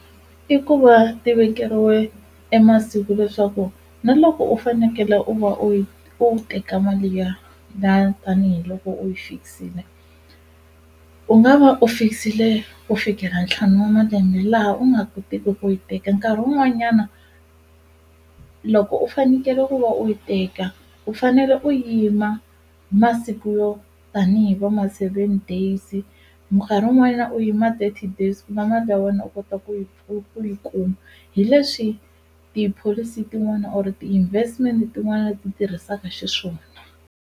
I ku va ti vekeriwe e masiku leswaku na loko u fanekele u va u yi u teka mali ya la tanihiloko u yi fix-ile u nga va fix-ile ku fikela ntlhanu wa malembe laha u nga kotiki ku yi teka nkarhi wun'wanyana loko u fanekele ku va u yi teka u fanele u yima masiku yo tanihi va ma seven days wun'wanyana u yima thirty days ku va mali ya wena u kota ku yi ku ku yi kuma hi leswi tipholisi tin'wana or ti-investment tin'wana ti tirhisaka xiswona.